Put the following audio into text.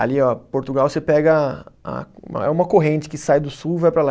Ali, ó, Portugal você pega a, é uma corrente que sai do sul e vai para lá.